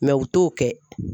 u t'o kɛ